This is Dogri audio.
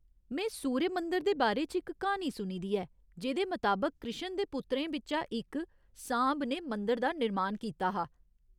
में सूर्य मंदर दे बारे च इक क्हानी सुनी ऐ जेह्दे मताबक कृश्ण दे पुत्रें बिच्चा इक सांब ने मंदर दा निर्मान कीता हा।